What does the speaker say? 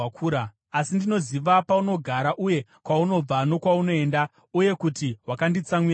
“ ‘Asi ndinoziva paunogara, uye kwaunobva nokwaunoenda, uye kuti wakanditsamwira sei.